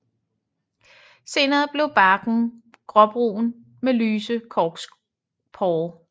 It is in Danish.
Senere bliver barken gråbrun med lyse korkporer